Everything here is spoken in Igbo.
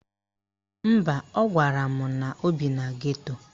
Mba, ọ gwara m na o bi na geto.